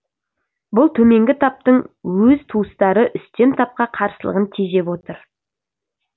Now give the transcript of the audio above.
бұл төменгі таптың өз туыстары үстем тапқа қарсылығын тежеп отыр